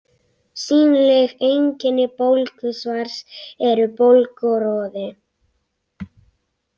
Sýnileg einkenni bólgusvars eru bólga og roði.